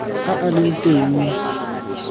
a a leng teng mo